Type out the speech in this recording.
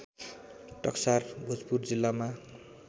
टक्सार भोजपुर जिल्लामा